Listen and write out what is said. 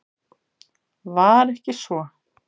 Var ekki svo?